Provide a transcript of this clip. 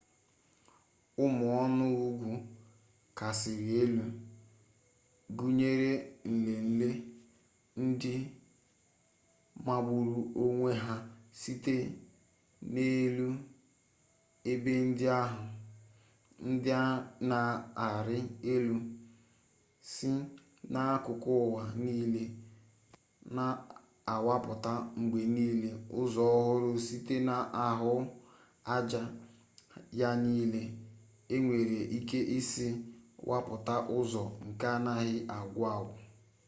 ụmụ ọnụ ugwu kachasị elu gụnyere nlenle ndị magburu onwe ha site n'elu ebe ndị ahụ ndị na-arị elu si n'akụkụ ụwa niile na-awapụta mgbe niile ụzọ ọhụrụ site n'ahụaja ya niile e nwere ike isi wapụta ụzọ nke anaghị agwụ agwụ